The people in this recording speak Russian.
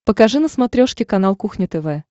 покажи на смотрешке канал кухня тв